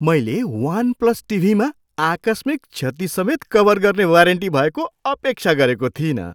मैले OnePlus टिभीमा आकस्मिक क्षति समेत कभर गर्ने वारेन्टी भएको अपेक्षा गरेको थिइनँ।